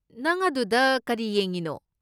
ꯅꯪ ꯑꯗꯨꯗ ꯀꯔꯤ ꯌꯦꯡꯉꯤꯅꯣ?